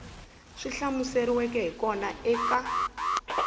swi hlamuseriweke hi kona eka